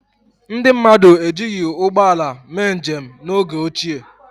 Ndị mmadụ ejighi ụgbọala mee njem n’oge ochie.